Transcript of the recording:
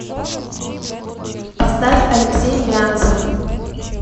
поставь алексей брянцев